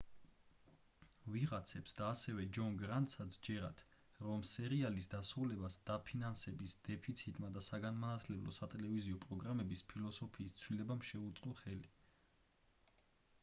ვიღაცებს და ასევე ჯონ გრანტსაც სჯერათ რომ სერიალის დასრულებას დაფინანსების დეფიციტმა და საგანმანათლებლო სატელევიზიო პროგრამების ფილოსოფიის ცვლილებამ შეუწყო ხელი